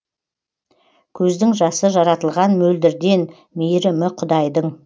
көздің жасы жаратылған мөлдірден мейірімі құдайдың